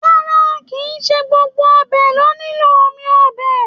Rárá, kì í ṣe gbogbo ọbẹ lo nilo omi ọbẹ.